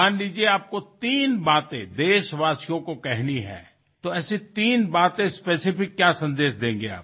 ধৰি লওক আপুনি তিনিটা কথা দেশবাসীৰ সন্মুখত কব লাগে এনে কোন তিনিটা কথা আপুনি বিশেষভাৱে কবলৈ বিচাৰিব